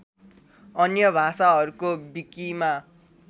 अन्य भाषाहरूको विकिमा